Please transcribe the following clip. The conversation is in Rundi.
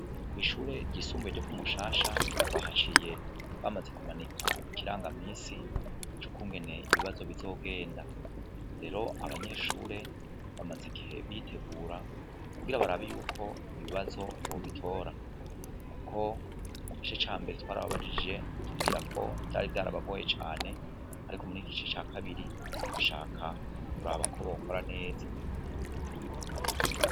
Kw'ishure ryisumbuye ryo kumushasha twahaciye bamaze kumanika ikiranga misi c'ukungene ibibazo bizogenda rero abanyeshure bamaze igihe bitegura kugira barabi yuko ibibazo bobitora, kuko mu gice ca mbere twari ababajije atubwira ko vyari vyaraba bagoye cane, ariko umuri igici ca kabiri bashaka kuri aba ko bakora neza.